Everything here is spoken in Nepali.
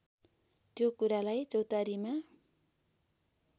त्यो कुरालाई चौतारीमा